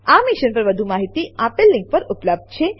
આ મિશન પર વધુ માહિતી આપેલ લીંક પર ઉપલબ્ધ છે